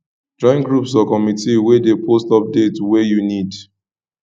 join groups or communities wey de post update wey you need